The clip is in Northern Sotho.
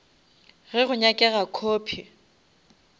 ge go nyakega copy